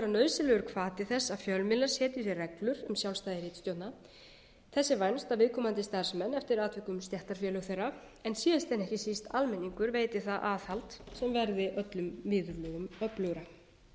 nauðsynlegur hvati þess að fjölmiðlar setji sér reglur um sjálfstæði ritstjórna þess er vænst að viðkomandi starfsmenn eftir atvikum stéttarfélög þeirra en síðast en ekki síst almenningur veiti það aðhald sem verði öllum viðurlögum öflugra